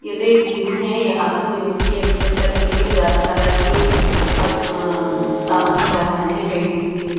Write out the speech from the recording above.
यह तो एक जिम है यहाँ तो जिम की एक्सरसाइज करने के लिए ज्यादा तरह की अब उम्म सामान दिख रहा है वेट लिफ्टिंग का--